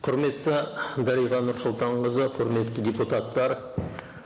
құрметті дариға нұрсұлтанқызы құрметті депуттар